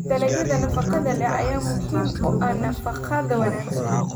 Dalagyada nafaqada leh ayaa muhiim u ah nafaqada wanaagsan.